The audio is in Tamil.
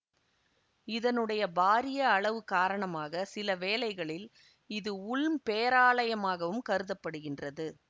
இதனுடைய பாரிய அளவு காரணமாக சில வேளைகளில் இது உல்ம் பேராலயமாகவும் கருத படுகின்றது